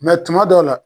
tuma dɔw la